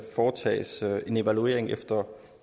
foretages en evaluering efter